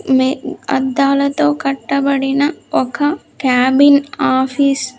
మే-- అద్దాలతో కట్టబడిన ఒక క్యాబిన్ ఆఫీస్ .